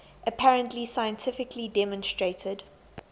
apparently scientifically demonstrated